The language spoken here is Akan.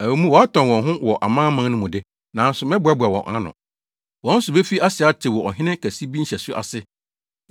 Ɛwɔ mu, wɔatɔn wɔn ho wɔ amanaman no mu de, nanso mɛboaboa wɔn ano. Wɔn so befi ase atew wɔ ɔhene kɛse bi nhyɛso ase.